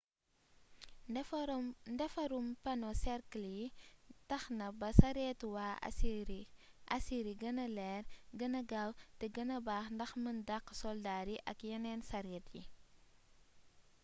ndefarum pano cercle yi taxna ba saretu wa assyri guena leer guena gaw té guena baax ndax meun daq soldar yi ak yenen saret yi